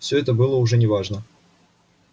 всё это было уже не важно